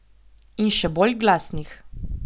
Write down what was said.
In še bolj glasnih.